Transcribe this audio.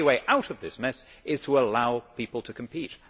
The only way out of this mess is to allow people to compete.